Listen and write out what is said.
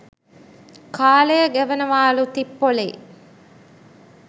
කාලය ගෙවනවාලු තිප්පොලේ.